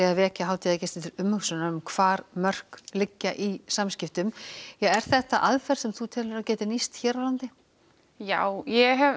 að vekja hátíðagesti til umhugsunar um hvar mörk liggja í samskiptum er þetta aðferð sem þú heldur að gæti nýst hér á landi já ég hef